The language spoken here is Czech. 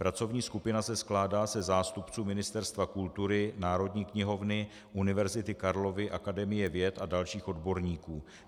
Pracovní skupina se skládá ze zástupců Ministerstva kultury, Národní knihovny, Univerzity Karlovy, Akademie věd a dalších odborníků.